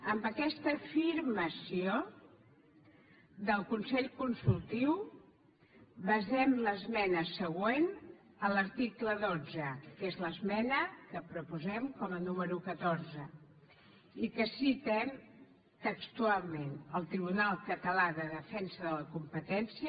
amb aquesta afirmació del consell consultiu basem l’esmena següent a l’article dotze que és l’esmena que proposem com a número catorze i que citem textualment el tribunal català de defensa de la competència